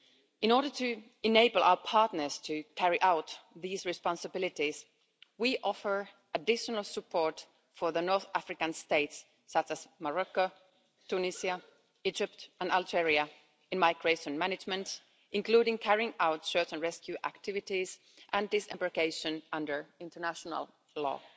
In order to enable our partners to carry out these responsibilities, we offer additional support for the North African States including Morocco, Tunisia, Egypt and Algeria in migration management, including carrying out search and rescue activities and disembarkation under international law.